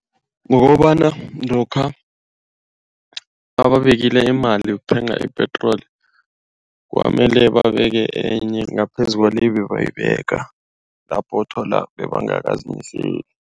Ngokobana lokha nabeke imali yokuthenga ipetroli kwamele babeke enye ngaphezulu kwale ebebayibeka. Lapho uthola bebangaka zimiseli.